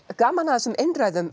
gaman að þessum einræðum